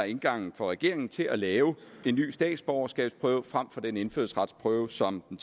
indgangen for regeringen til at lave en ny statsborgerskabsprøve frem for den indfødsretsprøve som den